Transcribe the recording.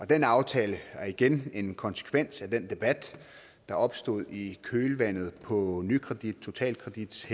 den aftale er igen en konsekvens af den debat der opstod i kølvandet på nykredits totalkredits